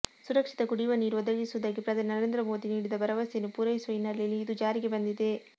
ಸುರಕ್ಷಿತ ಕುಡಿಯುವ ನೀರು ಒದಗಿಸುವುದಾಗಿ ಪ್ರಧಾನಿ ನರೇಂದ್ರ ಮೋದಿ ನೀಡಿದ ಭರವಸೆಯನ್ನು ಪೂರೈಸುವ ಹಿನ್ನೆಲೆಯಲ್ಲಿ ಇದು ಜಾರಿಗೆ ಬಂದಿದೆ